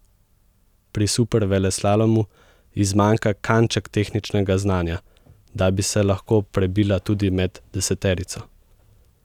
Pri superveleslalomu ji zmanjka kanček tehničnega znanja, da bi se lahko prebila tudi med deseterico.